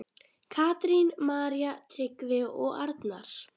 Katrín, María, Tryggvi og Arnar.